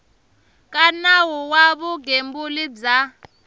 ka nawu wa vugembuli bya